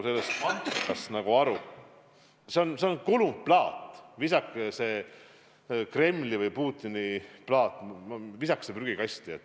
See on kulunud plaat, visake see Kremli või Putini plaat prügikasti!